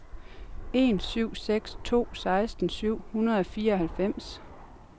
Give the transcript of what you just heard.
en syv seks to seksten syv hundrede og fireoghalvfems